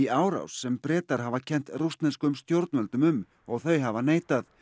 árás sem Bretar hafa kennt rússneskum stjórnvöldum um og þau hafa neitað